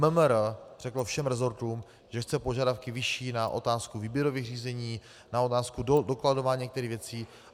MMR řeklo všem resortům, že chce požadavky vyšší na otázku výběrových řízení, na otázku dokladování některých věcí.